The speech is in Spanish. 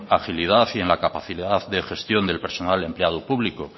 agilidad y en la capacidad de gestión del personal empleado público